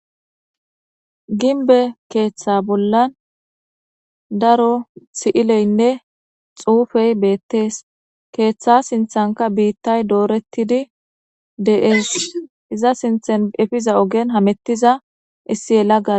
ginbe keeththa bollan daro si7ileynne xuufey beettees keeththa sinthanka biittay doorettidi de7ees iza sinthan efiza ogen hamettiza issi yela ga